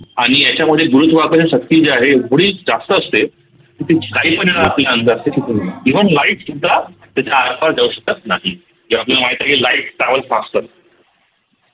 आणि याच्यामध्ये गुरुत्वाकर्षण शक्ती जी आहे एवढी जास्त असते की ती काहीपण even light सुद्धा त्याच्या आरपार जाऊ शकत नाही जे आपल्याला माहित आहे की lightTravel faster